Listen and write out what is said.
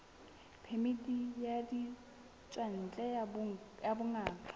phemiti ya ditswantle ya bongaka